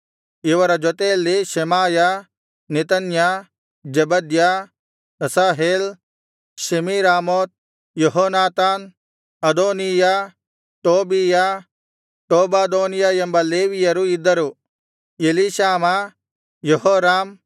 ಇವರ ಜೊತೆಯಲ್ಲಿ Shemaiah Nethaniah Zebadiah Asahel Shemiramoth Jehonathan Adonijah Tobijah Tobadonijah ಎಂಬ ಲೇವಿಯರು ಇದ್ದರು ಎಲೀಷಾಮಾ ಯೆಹೋರಾಮ್